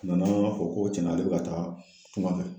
A nana an ko tiɲɛnna, ale b'a fɛ ka taa tunkan fɛ.